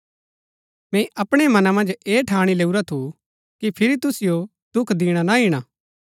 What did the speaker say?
मैंई अपणै मना मन्ज ऐह ठाणी लैऊरा थु कि फिरी तुसिओ दुख दिणा ना ईणा